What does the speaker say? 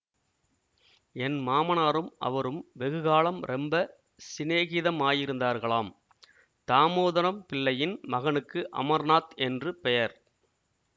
என் மாமனாரும் அவரும் வெகு காலம் ரொம்ப சிநேகிதமாயிருந்தார்களாம் தாமோதரம் பிள்ளையின் மகனுக்கு அமர்நாத் என்று பெயர்